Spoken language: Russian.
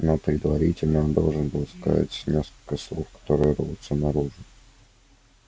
но предварительно он должен сказать несколько слов которые рвутся наружу